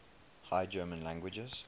high german languages